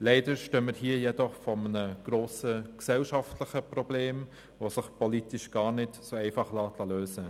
Leider stehen wir jedoch vor einem grossen gesellschaftlichen Problem, das sich politisch gar nicht so einfach lösen lässt.